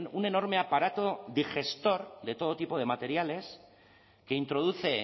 un enorme aparato digestor de todo tipo de materiales que introduce